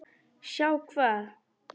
Sjá hvað?